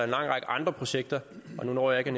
lang række andre projekter nu når jeg